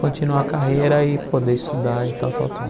Continuar a carreira e poder estudar e tal, tal, tal.